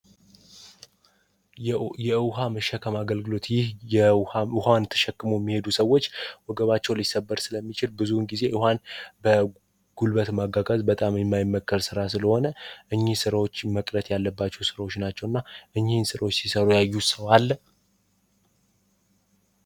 የዉሃ የመሸከም አገልግሎት ይህ ውሃ ተሸክመው የሚሄዱ ሰዎች ወገባቸው ሊሰበር ስለሚችል ብዙውን ጊዜ ውሃን በጉልበት ማጓጓዝ የማይመከር ስለሆነ እኚህ ስራዎች መቅረት ያለባቸው ስራዎች ናቸው እና እኚህ ስራዎች ሲሰሩ ያዩት ሰው አለ?